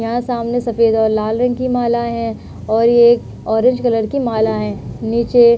यहाँ सामने सफेद और लाल रंग की माला है और ये एक ऑरेंज कलर की माला है। नीचे --